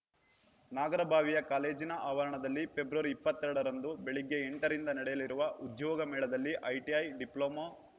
ನಾಗರಭಾವಿಯ ಕಾಲೇಜಿನ ಆವರಣದಲ್ಲಿ ಫೆಬ್ರವರಿ ಇಪ್ಪತ್ತ್ ಎರಡ ರಂದು ಬೆಳಗ್ಗೆ ಎಂಟ ರಿಂದ ನಡೆಯಲಿರುವ ಉದ್ಯೋಗ ಮೇಳದಲ್ಲಿ ಐಟಿಐ ಡಿಪ್ಲೊಮ